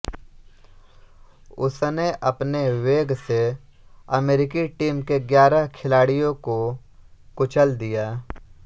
उसने अपने वेग से अमेरिकी टीम के ग्यारह खिलाड़ियों को कुचल दिया